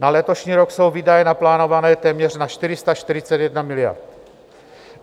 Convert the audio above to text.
Na letošní rok jsou výdaje naplánované téměř na 441 miliard.